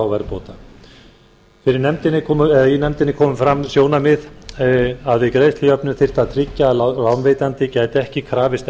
verðbóta í nefndinni komu fram þau sjónarmið að við greiðslujöfnun þyrfti að tryggja að lánveitandi gæti ekki krafist